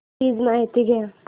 please माहिती द्या